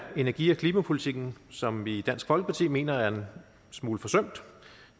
energi og klimapolitikken som vi i dansk folkeparti mener er en smule forsømt